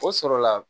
O sɔrɔla